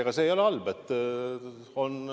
Ega see ei ole halb.